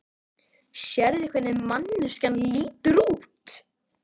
Sérðu hvernig manneskjan lítur út?